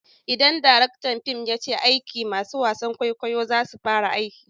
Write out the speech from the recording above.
Idan direktan fim ya ce aiki! masun wasan kwaikwayon za su fara aiki.